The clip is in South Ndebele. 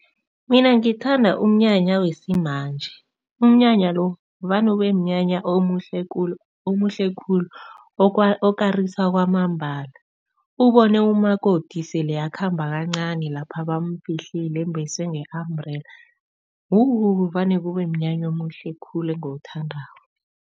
Mina ngithanda umnyanya yesimanje. Umnyanya lo vane ubemnyanya omuhle khulu omuhle khulu okarisa kwamambala. Ubone umakoti sele akhamba kancani lapha bamfihlile embeswe nge-umbrella wu vane kubemnyanya omuhle khulu engiwuthandako.